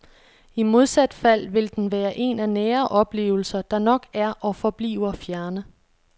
I modsat fald vil den være en af nære oplevelser, der nok er og forbliver fjerne.